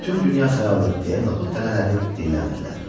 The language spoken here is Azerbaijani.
Bütün dünya saralır, deyə noxud dənələri dilləndilər.